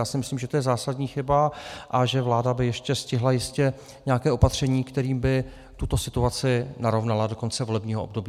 Já si myslím, že to je zásadní chyba a že vláda by ještě stihla jistě nějaké opatření, kterým by tuto situaci narovnala do konce volebního období.